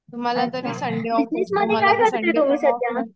तुम्हाला तरी संडे आम्हाला तर संडे